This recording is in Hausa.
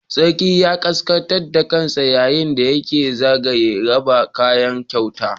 Sarki ya ƙasƙantar da kansa yayin da yake zagaya raba kayan kyauta